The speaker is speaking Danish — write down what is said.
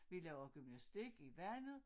Vi laver gymnastik i vandet